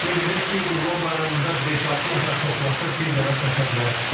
Qeyd edək ki, Qurban Bayramında beş-altı nəfər toplaşıb bir dəvə kəsə bilər.